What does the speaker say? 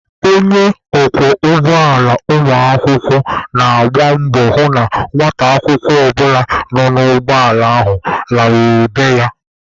Onye ọkwọ ụgbọala ụmụakwụkwọ na-agba mbọ hụ na nwata akwụkwọ ọbụla nọ n'ụgbọ ala ahụ laluru be ya.